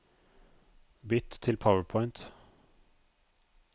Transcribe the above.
Bytt til PowerPoint